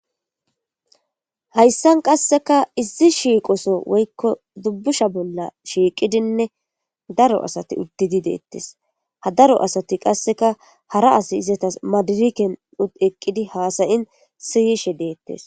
hayssan qasseka izzi shiiqoso woykko dubbusha bolla shiiqidinne daro asati uddidi deettes ha daro asati qasseka hara asi izatas madiriken ud eqqidi haasayin siyishe deettes